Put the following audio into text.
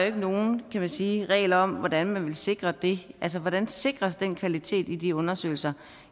ikke nogen kan man sige regel om hvordan man vil sikre det altså hvordan sikres den kvalitet i de undersøgelser